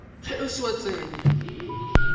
ge o se wa tsenya